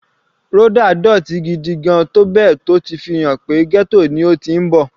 Rhoda dótì gigigan tó bẹ́ẹ̀ tó ti fi hàn pé ghetto ni ó ti ń bọ̀.